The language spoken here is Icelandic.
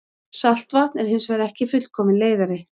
Saltvatn er hins vegar ekki fullkominn leiðari.